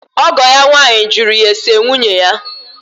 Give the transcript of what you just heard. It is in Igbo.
ọgọ ya nwaanyị jụrụ ya ese nwunye ya.